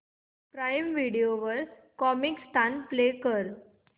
prime video वर Comicstaan play कर